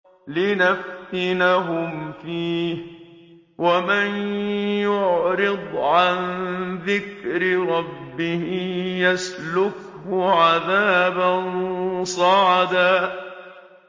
لِّنَفْتِنَهُمْ فِيهِ ۚ وَمَن يُعْرِضْ عَن ذِكْرِ رَبِّهِ يَسْلُكْهُ عَذَابًا صَعَدًا